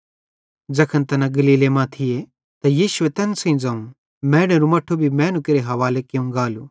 ज़ैखन तैना गलीले मां थी त यीशुए तैन सेइं ज़ोवं मैनेरू मट्ठू भी मैनू केरे हवाले कियूं गालू